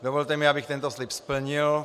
Dovolte mi, abych tento slib splnil.